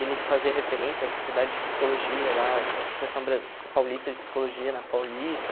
E ele fazia referência à sociedade de psicologia lá, à Associação bra Paulista de Psicologia, na Paulista.